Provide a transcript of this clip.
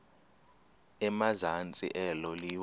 emazantsi elo liwa